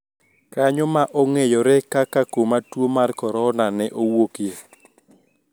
Kanyo ma ong`eyore kaka kuma tuo mar Korona ne owuokie